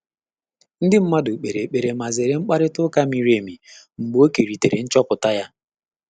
Ndị́ mmàdụ̀ kpèrè ékpèré mà zéré mkpàrị́tà ụ́ká mìrí émí mgbè ọ́ kèrìtèrè nchọ́pụ́tà yá.